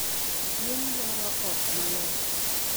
Gwen dwaro ot maler.